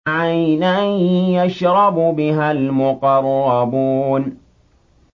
عَيْنًا يَشْرَبُ بِهَا الْمُقَرَّبُونَ